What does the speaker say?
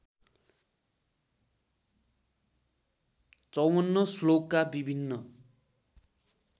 ५४ श्लोकका विभिन्न